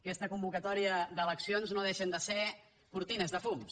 aquesta convocatòria d’eleccions no deixa de ser cortines de fums